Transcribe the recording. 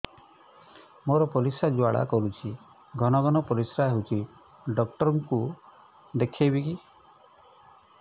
ମୋର ପରିଶ୍ରା ଜ୍ୱାଳା କରୁଛି ଘନ ଘନ ପରିଶ୍ରା ହେଉଛି ଡକ୍ଟର କୁ ଦେଖାଇବି